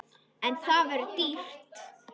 En það verður dýrt.